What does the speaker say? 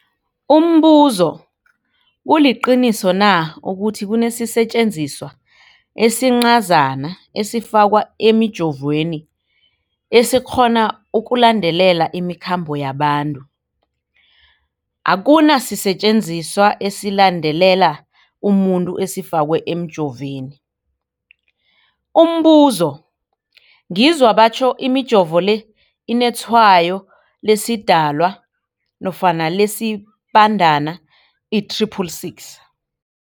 Umbuzo, kuliqiniso na ukuthi kunesisetjenziswa esincazana esifakwa emijovweni, esikghona ukulandelela imikhambo yabantu? Akuna sisetjenziswa esilandelela umuntu esifakwe emijoveni. Umbuzo, ngizwa batjho imijovo le inetshayo lesiDalwa nofana lesiBandana i-666.